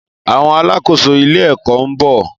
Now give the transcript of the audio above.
Àwon alàkóso ilé èkó nbo